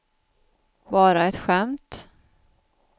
bara ett skämt